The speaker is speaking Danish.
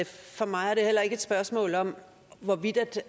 at for mig er det heller ikke et spørgsmål om hvorvidt